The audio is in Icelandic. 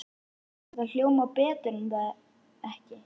Þetta hljómar betur er það ekki?